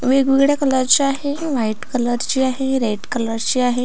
वेगवेगळ्या कलर ची आहे व्हाइट कलरची आहे रेड कलरची आहे.